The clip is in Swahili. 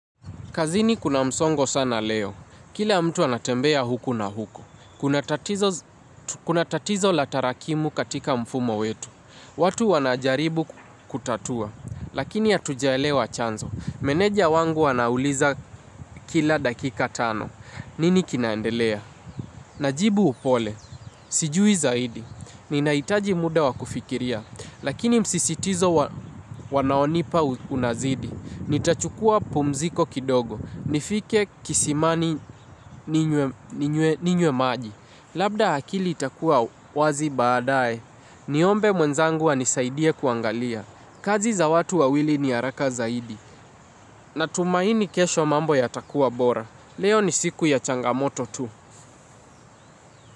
Kazini kuna msongo sana leo. Kila mtu anatembea huku na huku. Kuna tatizo. Kuna tatizo latarakimu katika mfumo wetu. Watu wanajaribu kutatua. Lakini hatunaelewa chanzo. Meneja wangu anauliza kila dakika tano. Nini kinaendelea? Najibu upole, sijui zaidi, ninaitaji muda wakufikiria, lakini msisitizo wanaonipa unazidi, nitachukua pumziko kidogo, nifike kisimani ninywe ninywe maji, labda akili itakuwa wazi baadae, niombe mwenzangu ani saidie kuangalia, kazi za watu wawili ni haraka zaidi, natumaini kesho mambo ya takua bora, leo ni siku ya changamoto tu.